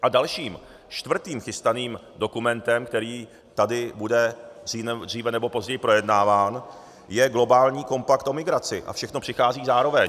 A dalším, čtvrtým chystaným dokumentem, který tady bude dříve nebo později projednáván, je globální kompakt o migraci a všechno přichází zároveň.